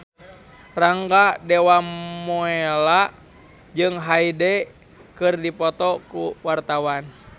Rangga Dewamoela jeung Hyde keur dipoto ku wartawan